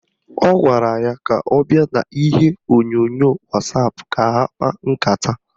Ọ gwara ya ka ọ bịa n'ihe onyonyo wasapụ ka ha kpaa nkata